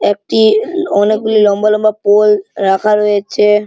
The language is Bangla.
একটি-ই অ্যাঁ অনেকগুলি লম্বা লম্বা পোল রাখা রয়েছে।